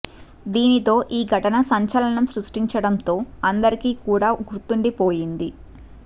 దీనితో ఈ ఘటన సంచలనం సృష్టించడం తో అందరికీ కూడా గుర్తుండిపోయింది